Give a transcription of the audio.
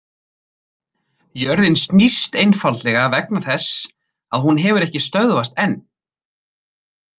Jörðin snýst einfaldlega vegna þess að hún hefur ekki stöðvast enn!